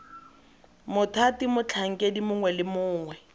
mothati motlhankedi mongwe le mongwe